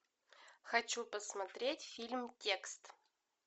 хочу посмотреть фильм текст